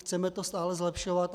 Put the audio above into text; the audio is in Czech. Chceme to stále zlepšovat.